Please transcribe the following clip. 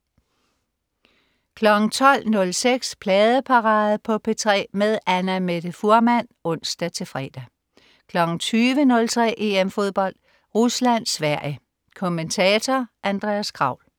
12.06 Pladeparade på P3 med Annamette Fuhrmann (ons-fre) 20.03 EM Fodbold. Rusland-Sverige. Kommentator: Andreas Kraul